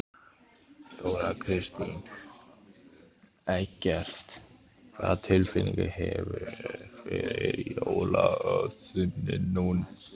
Þóra Kristín: Eggert, hvaða tilfinningu hefurðu fyrir jólaösinni núna?